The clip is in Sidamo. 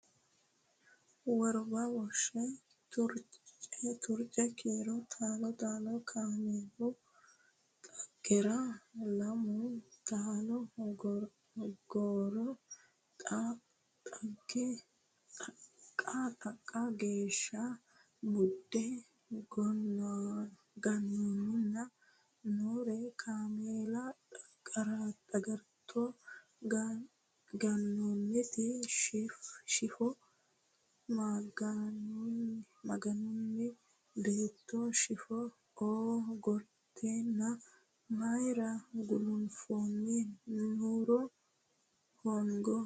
Worba Woshe Turce Kiiro taalo taalo Kaameelu xagarro Lamu taali gorro Xooqa geeshsha mudde Gonaanninna Naaro Kaameela xagarto Gonaannaati Shiifo Maganunna batto Shiifo oo gorteenna Mayra gulunfoonni Nuuru hoongo kiifo.